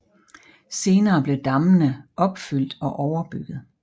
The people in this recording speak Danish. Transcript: Senere blev dammene opfyldt og overbygget